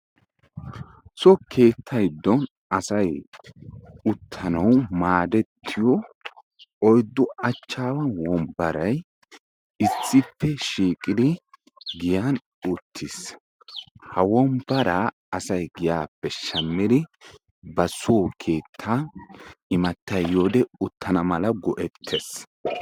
So keetta giddon asay uttanawu maadettiyo oyiddu achchaawa wombbaray issippe shiiqidi giyan uttis. Ha wombbaraa asay giyaappe shammidi ba soo keettaa imattay yiyode uttana mala go'ettees.